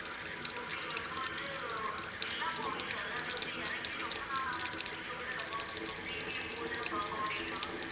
okay ma'am இப்ப வந்து எல்லா movies அதாவது வந்து இறங்கி ரொம்ப நாளான movies அ கூட நம்ம வந்து இப்ப premium போட்டுதான் பார்க்க முடியுமா?